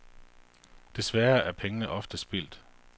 Desværre er pengene ofte spildt.